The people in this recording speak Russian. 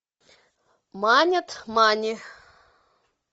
манят мани